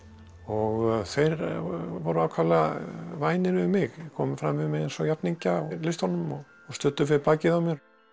og þeir voru ákaflega vænir við mig komu fram við mig eins og jafningja í listunum og studdu við bakið á mér